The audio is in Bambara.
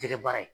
Jɛgɛ baara ye